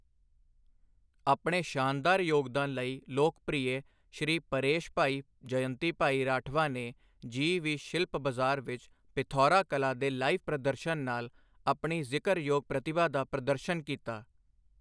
ਆਪਣੇ ਸ਼ਾਨਦਾਰ ਯੋਗਦਾਨ ਲਈ ਲੋਕਪ੍ਰਿਯ ਸ਼੍ਰੀ ਪਰੇਸ਼ਭਾਈ ਜਯੰਤੀਭਾਈ ਰਾਠਵਾ ਨੇ ਜੀ ਵੀਹ ਸ਼ਿਲਪ ਬਜ਼ਾਰ ਵਿੱਚ ਪਿਥੌਰਾ ਕਲਾ ਦੇ ਲਾਈਵ ਪ੍ਰਦਰਸ਼ਨ ਨਾਲ ਆਪਣੀ ਜ਼ਿਕਰਯੋਗ ਪ੍ਰਤਿਭਾ ਦਾ ਪ੍ਰਦਰਸ਼ਨ ਕੀਤਾ।